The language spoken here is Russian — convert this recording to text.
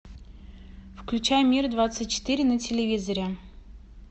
включай мир двадцать четыре на телевизоре